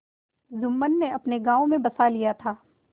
जुम्मन ने अपने गाँव में बसा लिया था